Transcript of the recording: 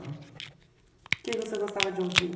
Ahn? Que que você gostava de ouvir?